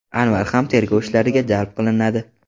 Anvar ham tergov ishlariga jalb qilinadi.